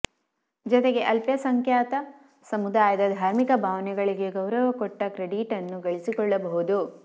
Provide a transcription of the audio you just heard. ಜತೆಗೆ ಅಲ್ಪಸಂಖ್ಯಾಕ ಸಮುದಾಯದ ಧಾರ್ಮಿಕ ಭಾವನೆಗಳಿಗೆ ಗೌರವ ಕೊಟ್ಟ ಕ್ರೆಡಿಟನ್ನು ಗಳಿಸಿಕೊಳ್ಳಬಹುದು